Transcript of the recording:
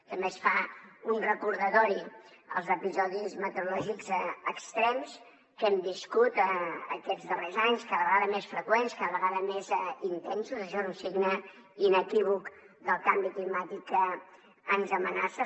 també es fa un recordatori als episodis meteorològics extrems que hem viscut aquests darrers anys cada vegada més freqüents cada vegada més intensos això és un signe inequívoc del canvi climàtic que ens amenaça